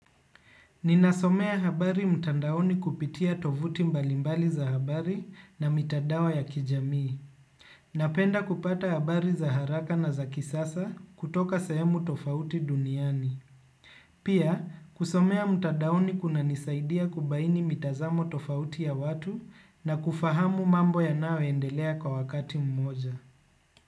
Ninasomea habari mtandaoni kupitia tovuti mbalimbali za habari na mitandao ya kijamii. Napenda kupata habari za haraka na za kisasa kutoka sehemu tofauti duniani. Pia, kusomea mtandaoni kunanisaidia kubaini mitazamo tofauti ya watu na kufahamu mambo yanayoendelea kwa wakati mmoja.